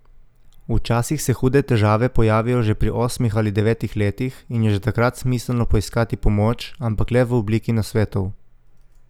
Včasih se hude težave pojavijo že pri osmih ali devetih letih in je že takrat smiselno poiskati pomoč, ampak le v obliki nasvetov.